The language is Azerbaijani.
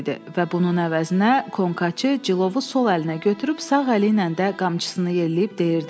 Və bunun əvəzinə konkaçı cilovu sol əlinə götürüb sağ əli ilə də qamçısını yelləyib deyirdi: